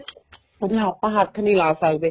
ਆਪਾਂ ਹੱਥ ਨਹੀਂ ਲਾ ਸਕਦੇ